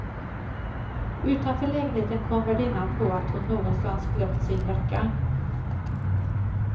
Utanför lägenheten kom värdinnan på att hon någonstans glömt sin jacka.